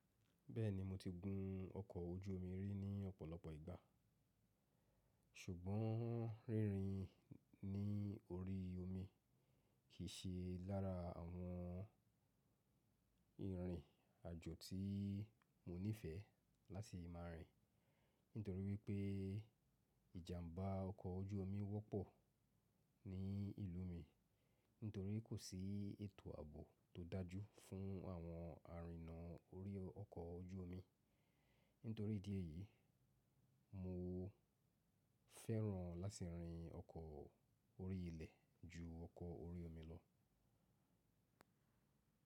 Bẹ́ẹ̀ni mo ti gun ọkọ̀ ojú omi rí ní ọ̀pọ̀lọpọ̀ ìgbà, ṣùgbọ́n rírin ní orí omi kì í ṣe lára àwọn ìrìn àjò tí mo nífẹ̀ẹ́ láti máa rìn. Nítorí wípé ìjàmbá ọkọ̀ ojú omi wọ́pọ̀ ní ìlú mi nítorí kò sí ètò ààbò tó dájú fún àwọn arìna orí ọkọ̀ ojú omi. Nítorí ìdí èyí, mo fẹ́ràn láti rìn ọkọ̀ orí ilẹ̀ ju ọkọ̀ orí omi lọ.